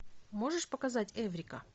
можешь показать эврика